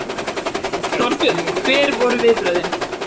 Þorbjörn: Hver voru viðbrögðin?